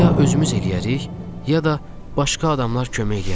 Ya özümüz eləyərik, ya da başqa adamlar kömək eləyərlər.